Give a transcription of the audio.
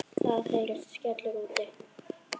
Það heyrist skellur úti.